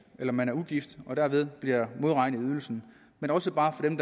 eller man er ugift og dermed bliver modregnet i ydelsen men også bare for dem